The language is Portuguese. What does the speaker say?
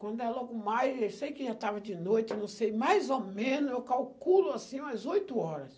Quando é logo mais, eu sei que já estava de noite, não sei, mais ou menos, eu calculo assim umas oito horas.